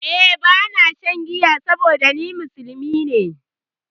Eh ba na shan giya saboda ni musulmi ne